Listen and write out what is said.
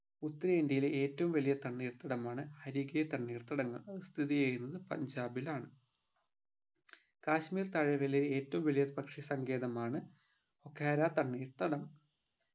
ഉത്തരേന്ത്യയിലെ ഏറ്റവും വലിയ തണ്ണീർത്തടമാണ് ഹരികെ തണ്ണീർത്തടങ്ങൾ സ്ഥിതി ചെയ്യുന്നത് പഞ്ചാബിലാണ് കാശ്മീർ താഴ്വരയിലെ ഏറ്റവും വലിയ പക്ഷി സങ്കേതമാണ് ഒകാര തണ്ണീർത്തടം